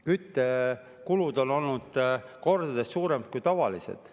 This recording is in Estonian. Küttekulud on olnud kordades suuremad kui tavaliselt.